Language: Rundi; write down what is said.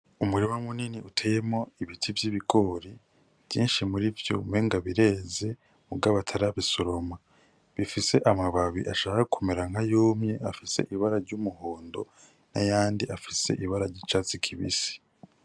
Umurima munini uteyemwo ibiti vy’ibigori vyinshi muri vyo umengo bireze mugabo atarabisoroma. Bifise amababi ashaka kumera nk’ayumye afise ibara ry’umuhondo n’ayandi afise ibara ry’icatsi kibisi.